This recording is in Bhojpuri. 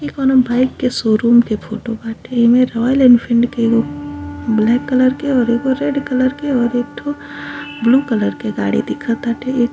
ई कउनों बाइक के शोरूम के फोटो बाटे। एमें रायल एनफील्ड के एगो ब्लैक कलर के और एगो रेड कलर के और एक ठे ब्लू कलर के गाड़ी दीखताटे।